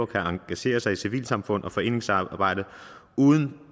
kan engagere sig i civilsamfundet og foreningsarbejdet uden